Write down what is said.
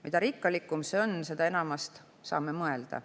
Mida rikkalikum see on, seda enamast saame mõelda.